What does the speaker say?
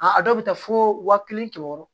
A dɔw bɛ taa fo wa kelen kɛmɛ wɔɔrɔ